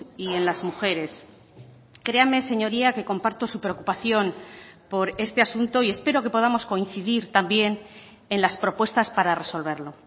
y en las mujeres créame señoría que comparto su preocupación por este asunto y espero que podamos coincidir también en las propuestas para resolverlo